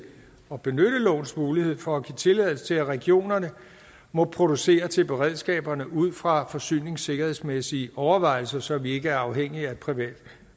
at benytte lovens mulighed for at give tilladelse til at regionerne må producere til beredskaberne ud fra forsyningssikkerhedsmæssige overvejelser så vi ikke er afhængige af et privat